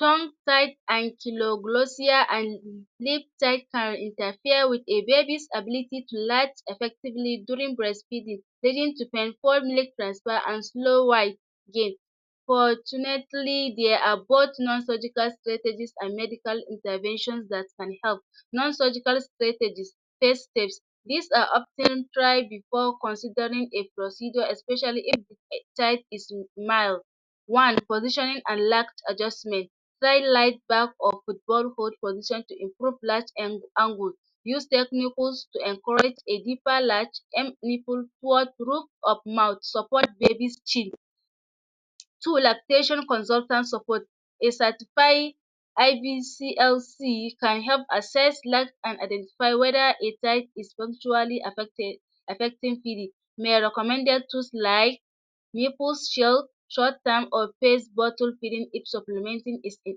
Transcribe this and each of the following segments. Tomsaid and kiloglsiya an lipstai can interfere with baby's ability to live effectively during breastfeeding heading to and slow white gain fortunate plea there are both none surgical strategies and medical intervention that can help. None surgical strategies first stage; This are often tried before considering a procedure especially if a child is male. One, positioning and lack adjustment side lack back of football hole position to improve last and angle use technicals to encourage a deeper lack em iple toward roof of mouth supoort baby's chil Two, lackadaisical consultant support a certify IBCLC can help assess loss and identify whether a type is punctually affected affecting may recommended two sly nipple's shield short-term or face bottle feeding if supplementing is if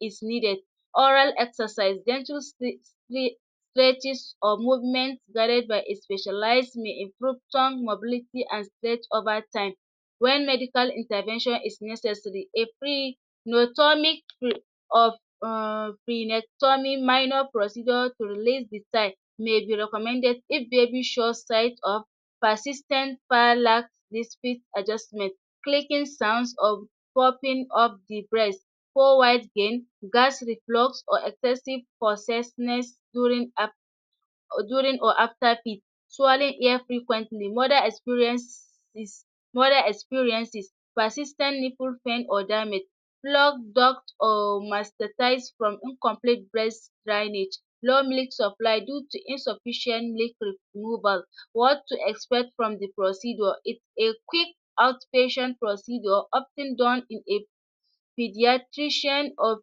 it is needed Oral exercise, pledges or movement guided by a specialize may improve tongue mobility and splej over time when medical intervention is necessary, a free notomic fre of uhm free netomic minor procedure to release the time may be recommended if baby shows tight or persistent parala is fit adjustment clicking sounds of popping of the breast four wife gain gas reflux or excessive possessness during up or during or after feed Twirling air frequently mother experience mother experiences persistent nipple pain or damage plug dog or mastatais from incomplete breast drainage Low milk supply due to insufficient little removal. What to expect from the procedure if a quick out-patient procedure often done in a pediatrician of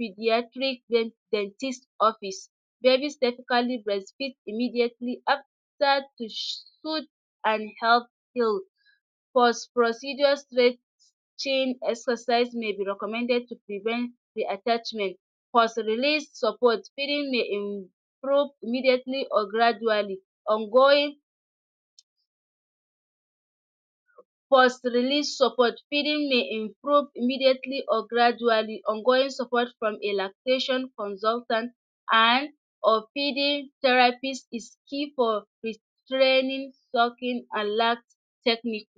pediatric get dentist office Babies statically breast feed immediatly after tush to and help kill post procedure straight chin exercise may be recommended to prevent the attachment post release support, feeding may im prove immedialy or gradually on going post release suppot feeding may improve immediately or gradually ongoing support from a lack patient consultant and of feeding terapist is key for is training, talking and last technique.